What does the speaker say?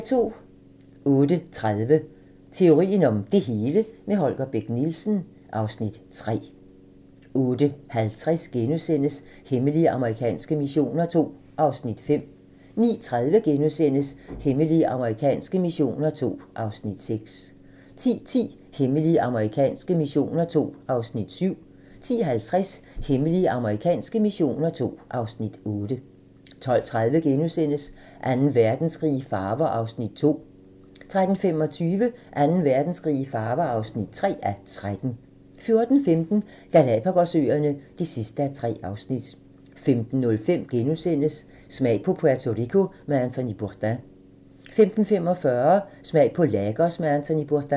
08:30: Teorien om det hele - med Holger Bech Nielsen (Afs. 3) 08:50: Hemmelige amerikanske missioner II (Afs. 5)* 09:30: Hemmelige amerikanske missioner II (Afs. 6)* 10:10: Hemmelige amerikanske missioner II (Afs. 7) 10:50: Hemmelige amerikanske missioner II (Afs. 8) 12:30: Anden Verdenskrig i farver (2:13)* 13:25: Anden Verdenskrig i farver (3:13) 14:15: Galapagos-øerne (3:3) 15:05: Smag på Puerto Rico med Anthony Bourdain * 15:45: Smag på Lagos med Anthony Bourdain